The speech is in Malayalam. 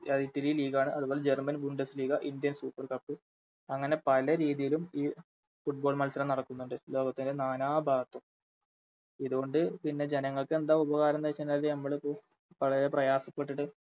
അതിറ്റലി League ആണ് അത്പോലെ German gunduz league indian super cup അങ്ങനെ പല രീതിയിലും ഈ Football മത്സരം നടക്കുന്നുണ്ട് ലോകത്തിൻറെ നാനാ ഭാഗത്തും ഇതുകൊണ്ട് പിന്നെ ജനങ്ങൾക്കെന്താ ഉപകരംന്ന് വെച്ചാഴിഞ്ഞാല് മ്മളിത് വളരെ പ്രയാസപ്പെട്ടിട്ട്